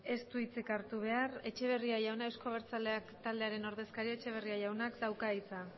ez du hitzik hartu behar etxeberria jauna eusko abertzaleak taldearen ordezkaria etxeberria jaunak dauka hitza